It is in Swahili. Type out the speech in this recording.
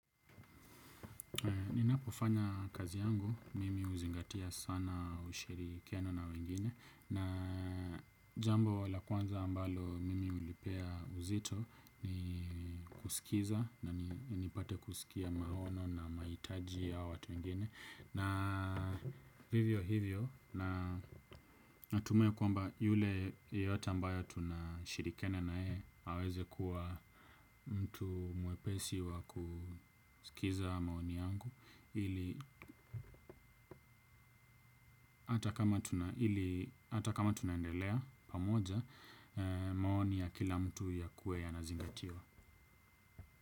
Ninapofanya kazi yangu, mimi huzingatia sana ushirikiano na wengine, na jambo la kwanza ambalo mimi hulipea uzito ni kusikiza na ni nipate kusikia maono na mahitaji ya watu wengine. Na vivyo hivyo na natumai kwamba yule yeyote ambaye tunashirikiana na yeye aweze kuwa mtu mwepesi wa kusikiza maoni yangu ili hata kama tuna ili hata kama tunaendelea pamoja maoni ya kila mtu yakuwe yanazingatiwa.